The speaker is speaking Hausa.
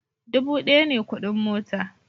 Dubu daya ne kudin mota